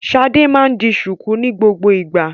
Ṣadé máa ń di ṣùkú ní gbogbo ìgbà.